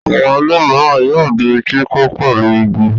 Àwọn ilé mìíràn yóò di kíkọ́ pẹ̀lú igi.